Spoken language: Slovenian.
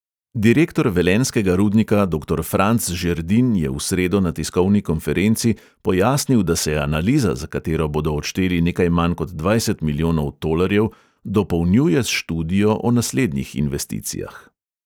Direktor velenjskega rudnika doktor franc žerdin je v sredo na tiskovni konferenci pojasnil, da se analiza, za katero bodo odšteli nekaj manj kot dvajset milijonov tolarjev, dopolnjuje s študijo o naslednjih investicijah.